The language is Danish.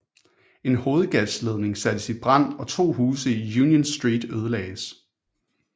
En hovedgasledning sattes i brand og 2 huse i Union Street ødelagdes